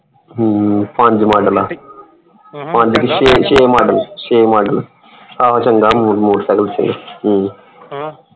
ਹਮ ਪੰਜ ਮੋਡਲ ਆ। ਪੰਜ ਨਹੀਂ ਛੇ ਛੇ ਮੋਡਲ ਛੇ ਮੋਡਲ ਆਹੋ ਚੰਗਾ ਹੈ motorcycle ਛੇ ਅਮ